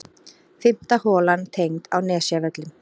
Fimmta holan tengd á Nesjavöllum.